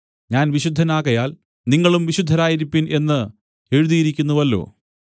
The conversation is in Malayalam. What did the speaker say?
ഞാൻ വിശുദ്ധൻ ആകയാൽ നിങ്ങളും വിശുദ്ധരായിരിപ്പിൻ എന്ന് എഴുതിയിരിക്കുന്നുവല്ലോ